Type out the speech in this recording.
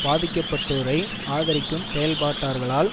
பாதிக்கப்பட்டோரை ஆதரிக்கும் செயல்பாட்டாளர்களால்